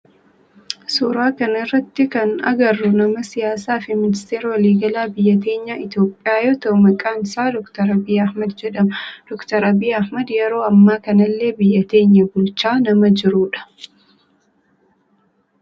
Suuraa kana irratti kana agarru nama siyaasaa fi ministeera waliigalaa biyya teenya Itiyoophiyaa yoo ta'u maqaan isaa Dr. Abiiy Ahimeed jedhama. Dr. Abiiy Ahimeed yeroo amma kanallee biyya teenya bulchaa nama jirudha.